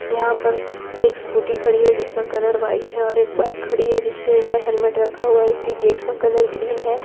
यहां पर एक स्कूटी खड़ी है जिसका कलर व्हाइट है और एक बाइक खड़ी है जिसके ऊपर हेलमेट रखा हुआ है इसकी गेट का कलर ग्रीन है।